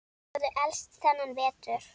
Þeir höfðu elst þennan vetur.